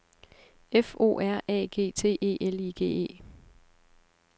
F O R A G T E L I G E